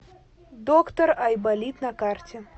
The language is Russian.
доктор айболит на карте